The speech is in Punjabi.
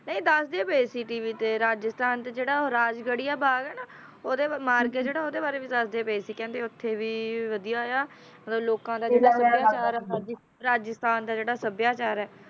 ਰਾਸ਼ਟਰਪਤੀ ਦੀ ਨਿਗਾਹ ਰਾਜਸਥਾਨ ਤੇ ਕਿਹੜਾ ਰਾਜ ਬਣਿਆ ਭਾਰਤ ਵਰਣਮਾਲ ਕੋਰਿਡਰ ਹਰਲ ਕਰਦੇ ਵੇਖੇ ਉੱਥੇ ਵੇਰਵਿਆਂ ਲੋਕਾਂ ਦਾ ਘਿਰਾਓ ਕੀਤਾ ਗਿਆ ਸਭਿਆਚਾਰਕ